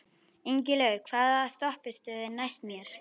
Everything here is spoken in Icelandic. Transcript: Ingilaug, hvaða stoppistöð er næst mér?